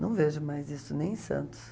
Não vejo mais isso, nem em Santos.